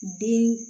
Bin